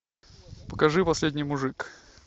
покажи последний мужик